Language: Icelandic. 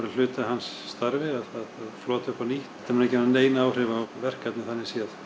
hluti af hans starfi að flota upp á nýtt þetta mun ekki hafh nein áhrif á verkefnið þannig séð